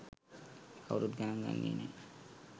කවුරුත් ගණන් ගන්නේ නෑ